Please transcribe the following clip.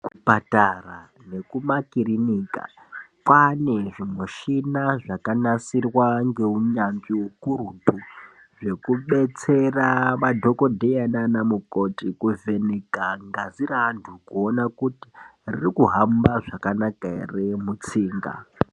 Patara nekumakirinika kwaane zvimishina zvakanasirwa ngeunyanzvi ukurutu Zvekubetsera madhokodheya nana mukoti kuvheneka ngazi raantu kuona kuti riri kuhamba zvakanaka ere mutsinga.